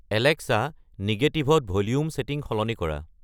Alexa নিগেটিভত volume setting সলনি কৰা